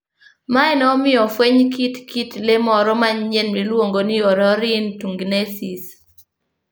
Mae ne omiyo ofweny kit kit le moro manyien miluongo ni Orrorin tugenensis.